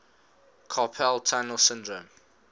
carpal tunnel syndrome